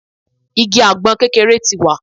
Igi àgbọn kékeré ti wà